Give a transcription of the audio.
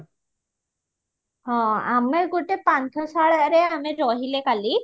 ଆମେ ଗୋଟେ ପାନ୍ଥଶାଳାରେ ଆମେ ରହିଲେ କାଲି